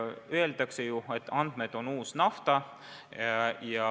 Öeldakse ju, et andmed on uus nafta.